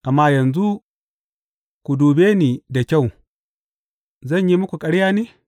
Amma yanzu ku dube ni da kyau, zan yi muku ƙarya ne?